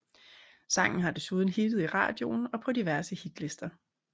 Sangen har desuden hittet i radioen og på diverse hitlister